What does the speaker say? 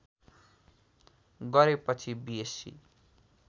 गरेपछि बिएस्सी